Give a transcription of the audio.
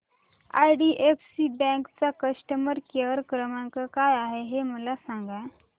IDFC bank चा customer care क्रमांक काय आहे हे मला सांगा